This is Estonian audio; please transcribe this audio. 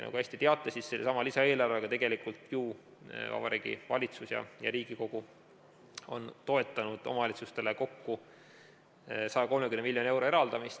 Nagu te hästi teate, sellesama lisaeelarvega tegelikult ju Vabariigi Valitsus ja Riigikogu on toetanud omavalitsustele kokku 130 miljoni euro eraldamist.